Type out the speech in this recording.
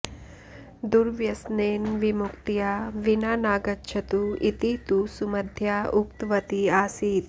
दुर्व्यसनेन विमुक्त्या विना नागच्छतु इति तु सुमध्या उक्तवती आसीत्